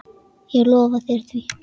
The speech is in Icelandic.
Ég lofa þér því.